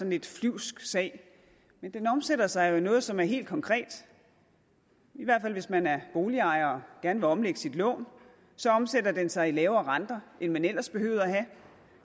lidt flyvsk sag men den omsætter sig jo i noget som er helt konkret i hvert fald hvis man er boligejer og gerne vil omlægge sit lån så omsætter den sig i lavere renter end man ellers behøvede at have